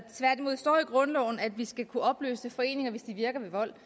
tværtimod står i grundloven at vi skal kunne opløse foreninger hvis de virker ved vold